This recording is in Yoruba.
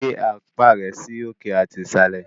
Gbé apá rẹ sí òkè àti ìsàlẹ̀!